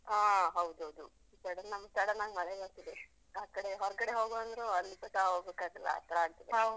ಆ ಹೌದೌದು, ಸಡನ್ನಾಗ್ ನಮ್ಗ್ ಸಡನ್ನಾಗ್ ಮಳೆ ಬರ್ತದೆ. ಆಕಡೆ ಹೊರ್ಗಡೆ ಹೋಗ್ವಾನ್ದ್ರು ಅಲ್ಲಿ ಕೂಡ ಹೋಗೋಕ್ಕಾಗಲ್ಲ ಆತರ ಆಗ್ತದೆ.